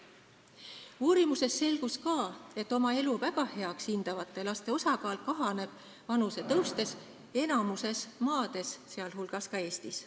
Uurimusest selgus ka, et oma elu väga heaks hindavate laste osakaal kahaneb vanuse tõustes enamikus maades, sh Eestis.